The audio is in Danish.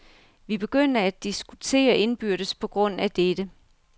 Vi begynder at diskutere indbyrdes på grund af dette.